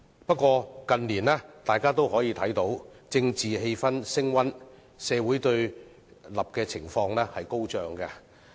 不過，大家近年都看到政治氣氛升溫，社會對立情況高漲。